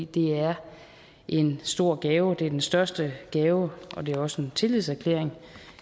det er en stor gave det er den største gave og det er også en tillidserklæring